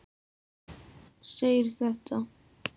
segir þetta